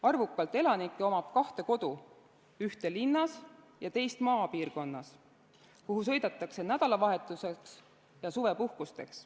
Arvukalt elanikke on sellised, kellel on kaks kodu: üks linnas ja teine maapiirkonnas, kuhu sõidetakse nädalavahetuseks ja suvepuhkuseks.